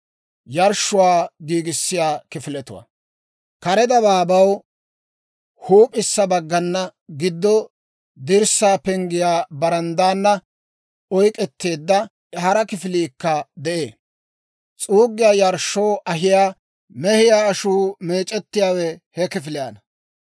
Kare dabaabaw huup'issa baggana, giddo dirssaa penggiyaa baranddaana oyk'k'eteedda, hara kifiliikka de'ee. S'uuggiyaa yarshshoo ahiyaa mehiyaa ashuu meec'ettiyaawe he kifiliyaana.